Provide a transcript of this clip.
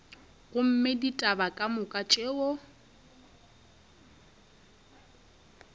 gomme ditaba ka moka tšeo